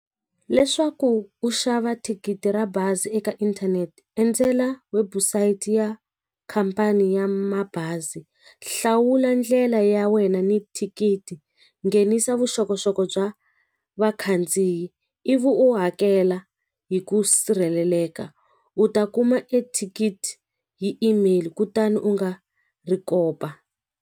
Leswaku u xava thikithi ra bazi eka inthanete endzela website ya khampani ya mabazi hlawula ndlela ya wena ni thikithi nghenisa vuxokoxoko bya vakhandziyi ivi u hakela hi ku sirheleleka u ta kuma ethikithi hi email kutani u nga ri kopa.